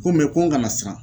Ko mɛ ko n kana siran